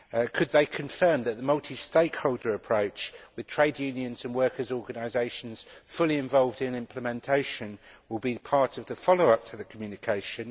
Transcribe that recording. Could they confirm that the multi stakeholder approach, with trade unions and workers' organisations fully involved in implementation, will be part of the follow up to the Communication?